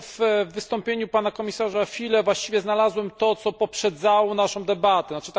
Ja w wystąpieniu pana komisarza Füle właściwie znalazłem to, co poprzedzało naszą debatę, tzn.